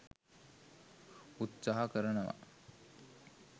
උත්සාහ කරනවා.